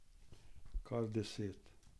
Kar deset.